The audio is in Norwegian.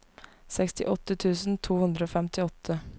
sekstiåtte tusen to hundre og femtiåtte